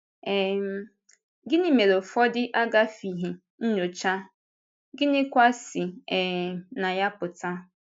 um Gịnị mere ụfọdụ agafịghị nnyocha, gịnịkwa si um na ya pụta?